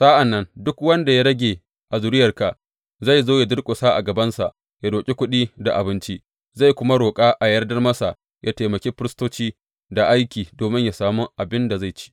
Sa’an nan duk wanda ya rage a zuriyarka zai zo yă durƙusa a gabansa yă roƙi kuɗi da abinci, zai kuma roƙa a yardar masa yă taimaki firistoci da aiki domin yă sami abin da zai ci.